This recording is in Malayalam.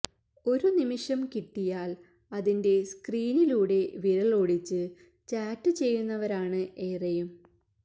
ഒരു നിമിഷം കിട്ടിയാൽ അതിന്റെ സ്ക്രീനിലൂടെ വിരലോടിച്ച് ചാറ്റ് ചെയ്യുന്നവരാണ് ഏറെയും